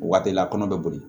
O waati la kɔnɔ be boli